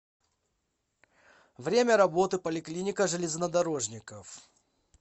время работы поликлиника железнодорожников